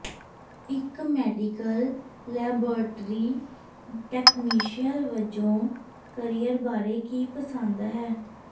ਇੱਕ medical laboratory technician ਵਜੋਂ career ਬਾਰੇ ਕੀ ਪਸੰਦ ਹੈ